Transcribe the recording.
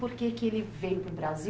Por que que ele veio para o Brasil?